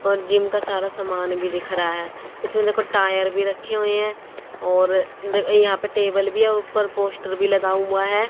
और जिम का सारा समान भी दिख रहा है इसमें देखो टायर भी रखे हुए हैं और यहां पे टेबल भी है ऊपर पोस्टर भी लगा हुआ है।